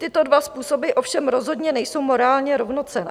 Tyto dva způsoby ovšem rozhodně nejsou morálně rovnocenné.